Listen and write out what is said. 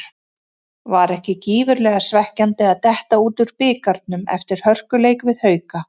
Var ekki gífurlega svekkjandi að detta út úr bikarnum eftir hörkuleik við Hauka?